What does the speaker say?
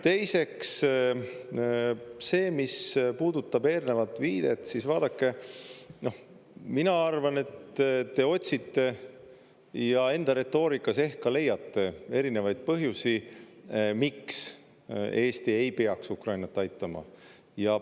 Teiseks, see, mis puudutab eelnevat viidet, siis vaadake, mina arvan, et te otsite ja enda retoorikas ehk ka leiate erinevaid põhjusi, miks Eesti ei peaks Ukrainat aitama.